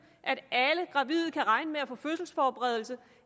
at alle gravide kan regne med at få fødselsforberedelse